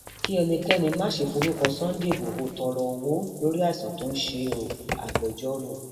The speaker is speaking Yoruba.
kí ẹnikẹni má ṣe forúkọ sunday igbodò tọrọ owó lórí àìsàn tó ń ṣe é oagbejọrò